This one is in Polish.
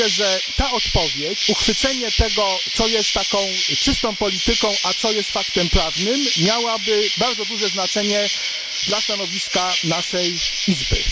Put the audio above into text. Myślę, że ta odpowiedź, uchwycenie tego, co jest taką czystą polityką, a co jest faktem prawnym, miałoby bardzo duże znaczenie dla stanowiska naszej Izby.